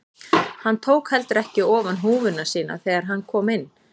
Hann tók heldur ekki ofan húfuna sína þegar hann kom inn.